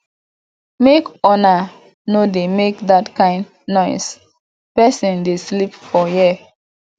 make una no dey make dat kin noise person dey sleep for here